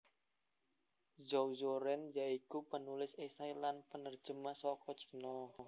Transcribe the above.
Zhou Zuoren ya iku penulis esai lan penerjemah saka Cina